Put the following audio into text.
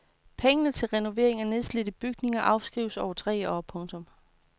Pengene til renovering af nedslidte bygninger afskrives over tre år. punktum